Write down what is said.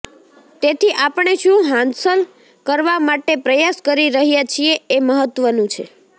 તેથી આપણે શું હાંસલ કરવા માટે પ્રયાસ કરી રહ્યા છીએ એ મહત્ત્વનું છે